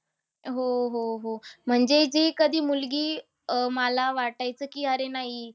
हो, हो, हो. म्हणजे जी कधी मुलगी अह मला वाटायचं की अरे नाही ही